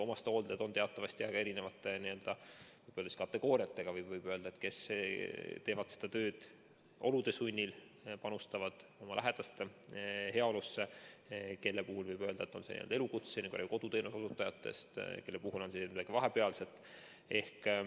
Omastehooldajaid on teatavasti väga erineva n‑ö kategooriaga, võib öelda: kes teevad seda tööd olude sunnil, panustavad oma lähedaste heaolusse, kelle puhul võib öelda, et see on elukutse, nagu koduteenuse osutajad, ja kelle puhul on see midagi vahepealset.